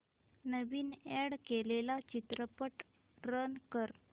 नवीन add केलेला चित्रपट run कर